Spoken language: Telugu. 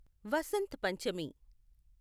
వసంత్ పంచమి